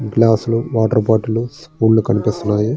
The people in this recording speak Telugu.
గ్లాసులు వాటర్ బాటిళ్లు స్పూన్లు కనిపిస్తున్నాయి.